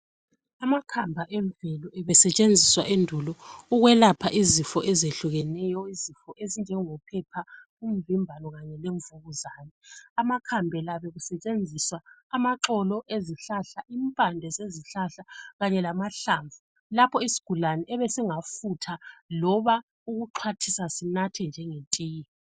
Amakhamba emvelo ebesetshenziswa endulo ukwelapha izifo ezehlukeneyo; izifo ezinjenjophepha, umvimbano kanye lemvukuzane . Amakhambe la bekusetshenziswa amaxolo ezihlahla, impande zezihlahla kanye lamahlamvu, lapho isigulane ebesingafutha loba ukuxhwathisa sinathe njengetiye.